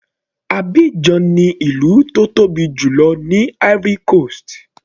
Abidjan ni ìlú tó tóbi jùlọ ní Ivory coast.